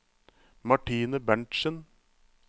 Martine Berntzen